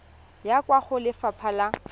ya kwa go lefapha la